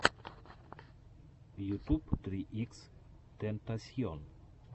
ютуб три икс тентасьон